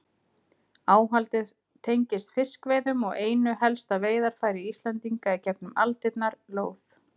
Áhaldið tengist fiskveiðum og einu helsta veiðarfæri Íslendinga í gegnum aldirnar, lóð.